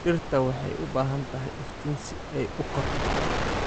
Dhirta waxay u baahan tahay iftiin si ay u korto.